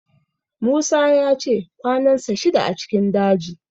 Musa ya ce kwanansa shida a cikin daji